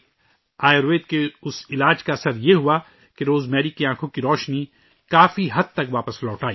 آیوروید کے اس علاج کا اثر یہ ہوا کہ روزمیری کی بینائی کافی حد تک واپس آگئی